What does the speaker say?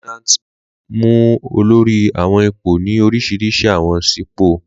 Lieutenants mu olori awọn ipo ni orisirisi awọn sipo.